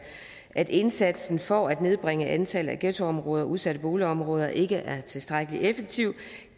at indsatsen for at nedbringe antallet af ghettoområder og udsatte boligområder ikke er tilstrækkelig effektiv